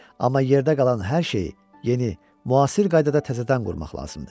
Amma yerdə qalan hər şeyi yeni, müasir qaydada təzədən qurmaq lazımdır.